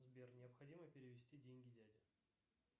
сбер необходимо перевести деньги дяде